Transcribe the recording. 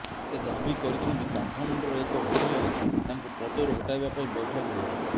ସେ ଦାବି କରିଛନ୍ତି କାଠମାଣ୍ଡୁର ଏକ ହୋଟେଲରେ ତାଙ୍କୁ ପଦରୁ ହଟାଇବା ପାଇଁ ବୈଠକ ହୋଇଛି